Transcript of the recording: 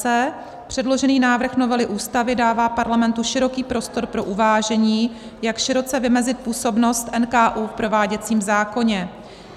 c) předložený návrh novely Ústavy dává Parlamentu široký prostor pro uvážení, jak široce vymezit působnost NKÚ v prováděcím zákoně.